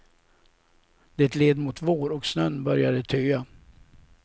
Det led mot vår och snön började töa.